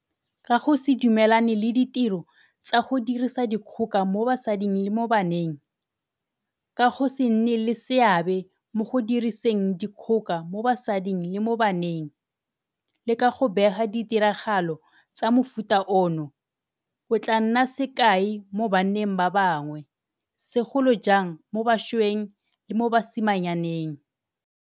Ka go se dumelane le ditiro tsa go dirisa dikgoka mo basading le mo baneng, ka go se nne le seabe mo go diriseng dikgoka mo basading le mo baneng, le ka go bega ditiragalo tsa mofuta ono, o tla nna sekai mo banneng ba bangwe, segolo jang mo bašweng le mo basimanyaneng.